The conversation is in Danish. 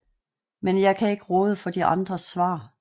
Men jeg kan ikke råde for de andres svar